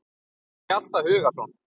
eftir Hjalta Hugason